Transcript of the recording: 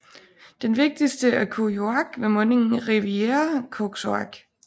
Den vigtigste er Kuujjuaq ved mundingen af Rivière Koksoak